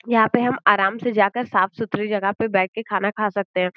यहां पे हम आराम से जाकर साफ-सुथरी जगह पे बैठ के खाना खा सकते हैं।